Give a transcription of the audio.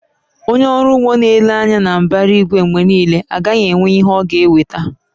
Onye ọrụ ugbo na-ele anya na mbara igwe mgbe niile, agaghị enwe ihe ọ ga-eweta